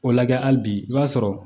O lagɛ hali bi i b'a sɔrɔ